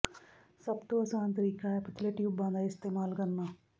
ਸਭ ਤੋਂ ਆਸਾਨ ਤਰੀਕਾ ਹੈ ਪਤਲੇ ਟਿਊਬਾਂ ਦਾ ਇਸਤੇਮਾਲ ਕਰਨਾ